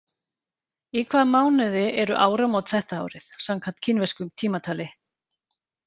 Í hvaða mánuði eru áramót þetta árið, samkvæmt kínversku tímatali?